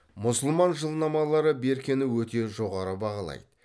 мұсылман жылнамалары беркені өте жоғары бағалайды